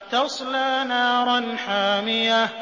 تَصْلَىٰ نَارًا حَامِيَةً